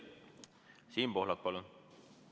Siim Pohlak, palun!